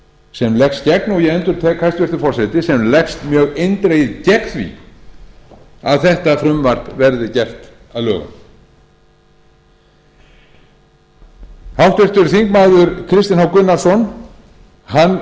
sem leggst gegn og ég endurtek hæstvirtur forseti sem leggst mjög eindregið gegn því að þetta frumvarp verði gert að lögum háttvirtur þingmaður kristinn h